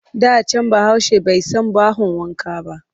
Da can Bahaushe bai san bahon wanka ba